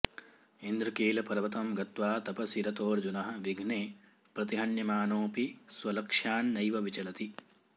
इन्द्रकीलपर्वतं गत्वा तपसि रतोऽर्जुनोः विघ्नेः प्रतिहन्यमानोऽपि स्वलक्ष्यान्नैव विचलति